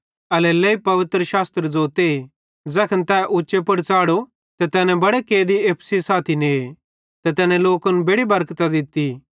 एल्हेरेलेइ पवित्रशास्त्र ज़ोते ज़ैखन तै उच्चे पुड़ च़ाढ़ो ते तैने बड़े कैदी एप्पू सेइं साथी ने ते तैने लोकन बेड़ि बरकतां दित्ती